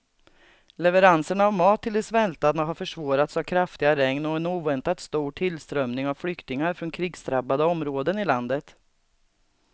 Leveranserna av mat till de svältande har försvårats av kraftiga regn och en oväntat stor tillströmning av flyktingar från krigsdrabbade områden i landet.